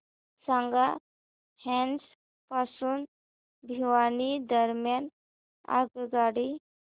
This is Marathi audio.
सांगा हान्सी पासून भिवानी दरम्यान आगगाडी